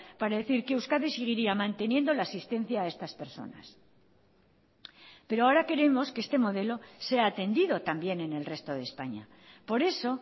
para decir que euskadi seguiría manteniendo la asistencia a estas personas pero ahora queremos que este modelo sea atendido también en el resto de españa por eso